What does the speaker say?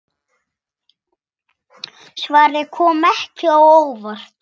Svarið kom ekki á óvart.